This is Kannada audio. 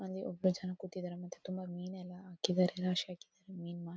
ಅಲ್ಲಿ ಒಬ್ಬರು ಜನ ಕೂತಿದ್ದಾರೆ ಮತ್ತೆ ತುಂಬ ಮೀನೆಲ್ಲ ಹಾಕಿದಾರೆ ರಾಶಿ ಹಾಕಿದಾರೆ. ಮೀನ್ ಮಾರ್--